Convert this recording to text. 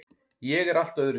Ég er allt öðruvísi.